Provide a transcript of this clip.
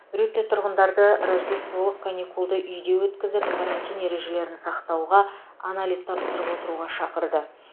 рютте тұрғындарды рождестволық каникулды үйде өткізіп карантин ережелерін сақтауға анализ тапсырып отыруға шақырды